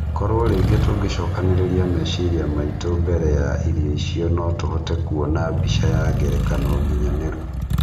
Korwo rĩngĩ tũngĩcokanĩrĩria meciria maitũ mbere ya irio icio notũhote kũona mbica ya ngerekano nginyanĩru